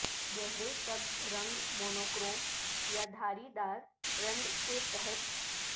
گہرے سبز رنگ مونوکروم یا دھاری دار رند کے تحت